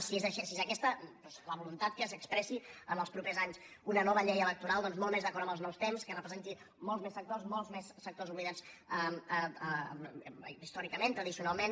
si és aquesta la voluntat que s’expressi en els propers anys una nova llei electoral molt més d’acord amb els nous temps que representi molts més sectors molts més sectors oblidats històricament tradicional·ment